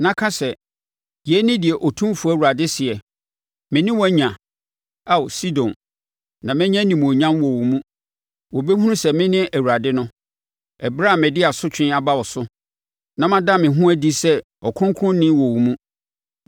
na ka sɛ: ‘Yei ne deɛ Otumfoɔ Awurade seɛ: “ ‘Me ne wo anya, Ao Sidon na mɛnya animuonyam wɔ wo mu. Wɔbɛhunu sɛ mene Awurade no, ɛberɛ a mede asotwe aba wo so na mada me ho adi sɛ ɔkronkronni wɔ wo mu.